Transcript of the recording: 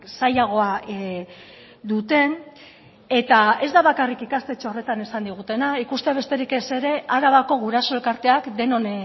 zailagoa duten eta ez da bakarrik ikastetxe horretan esan digutena ikustea besterik ez ere arabako guraso elkarteak denon